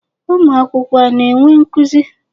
Ụmụ akwụkwọ a na-enwe nkuzi?